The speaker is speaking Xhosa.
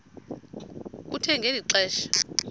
kuthe ngeli xesha